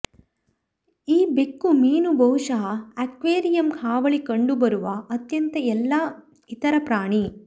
ಈ ಬೆಕ್ಕುಮೀನು ಬಹುಶಃ ಅಕ್ವೇರಿಯಂ ಹಾವಳಿ ಕಂಡುಬರುವ ಅತ್ಯಂತ ಎಲ್ಲಾ ಇತರ ಪ್ರಾಣಿ